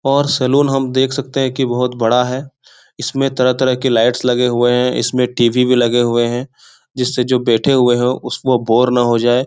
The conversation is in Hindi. और सैलून हम देख सकते की बहुत बड़ा है। इसमें तरह-तरह के लाइट्स लगे हुए हैं। इसमें टी.वी. भी लगे हुए हैं। जिससे जो बैठे हुए है उस वो बोर न हो जाएँ।